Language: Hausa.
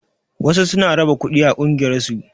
Wasu suna raba kuɗi a ƙungiyar su